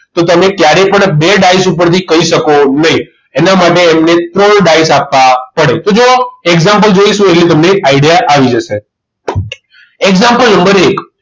તો તમને ક્યારે પણ બે ડાઈસ ઉપરથી કહી શકો નહીં એના માટે એમને ત્રણ ડાયસ આપવા પડે તો જોવો example જોઈશું એટલે તમને idea આવી જશે example નંબર એક